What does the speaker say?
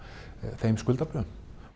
þeim skuldabréfum